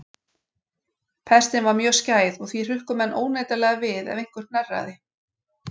Pestin var mjög skæð og því hrukku menn óneitanlega við ef einhver hnerraði.